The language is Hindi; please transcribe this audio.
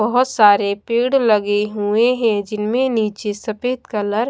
बहोत सारे पेड़ लगे हुए हैं जिनमें नीचे सफेद कलर-- ।